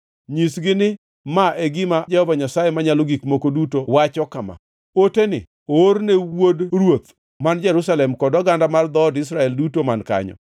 “Nyisgi ni ma e gima Jehova Nyasaye Manyalo Gik Moko Duto wacho kama: ‘Oteni oor ne wuod ruoth man Jerusalem kod oganda mar dhood Israel duto man kanyo.’